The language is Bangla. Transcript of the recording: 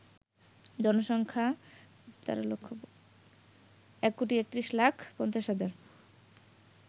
জনসংখ্যা ১৩১৫০০০০